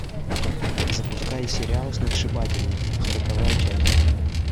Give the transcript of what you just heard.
запускай сериал сногсшибательно сороковая часть